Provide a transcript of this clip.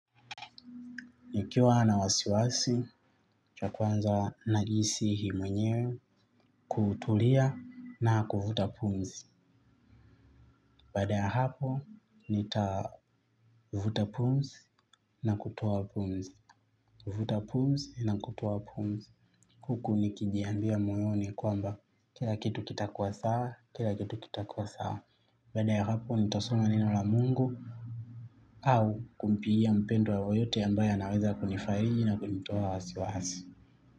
Nikiwa na wasiwasi, cha kwanza najisihii mwenyewe, kutulia na kuvuta pumzi. Baada ya hapo, nita vuta pumzi na kutoa pumzi. Kuvuta pumzi na kutoaa pumzi. Huku nikijiambia moyoni kwamba, kila kitu kitakuwa sawa, kila kitu kitakuwa sawa. Baada ya hapo, nitasoma neno la Mungu, au kumpigia mpendwa yeyote ambaye anaweza kunifariji na kunitoa wasiwasi.